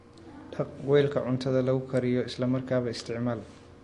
Dhaq weelka cuntada lagu kariyo isla markaaba isticmaal.